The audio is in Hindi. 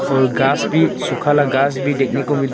और घास भी सूखा वाला घास भी देखने को मिल रहा है।